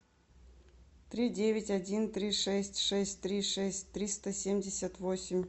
три девять один три шесть шесть три шесть триста семьдесят восемь